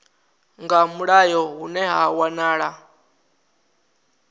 nga mulayo hune ha wanala